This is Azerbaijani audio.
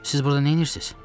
Siz burda neyləyirsiz?